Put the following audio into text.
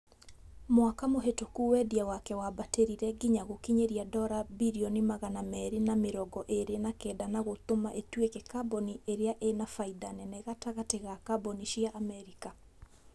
mwaka mũhĩtũku wendia wake wambatĩrire nginya gũkinyĩrĩa dora bilioni magana merĩ na mĩrongo ĩrĩ na kenda na gũtũma ĩtuĩke kambuni ĩrĩa ĩna faida nene gatagatĩ ga kambuni cia Amerika